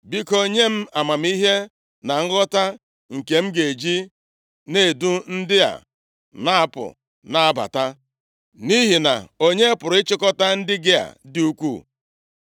Biko, nye m amamihe na nghọta, nke m ga-eji edu ndị a napụ na-abata, nʼihi na onye pụrụ ịchịkọta ndị gị a dị ukwuu?”